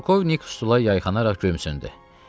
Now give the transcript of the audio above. Polkovnik stula yayxanaraq gömsündü.